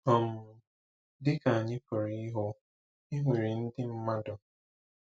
um Dị ka anya pụrụ ịhụ, e nwere ndị mmadụ.